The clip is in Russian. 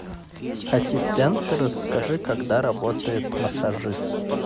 ассистент расскажи когда работает массажист